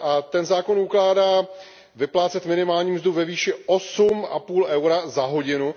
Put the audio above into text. Ten zákon ukládá vyplácet minimální mzdu ve výši 8,5 EUR za hodinu.